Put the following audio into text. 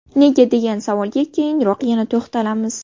Nega degan savolga keyinroq yana to‘xtalamiz.